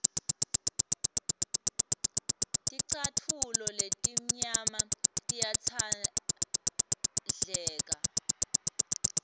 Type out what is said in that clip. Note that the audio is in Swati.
ticatfulo letimnyama tiyatsandleka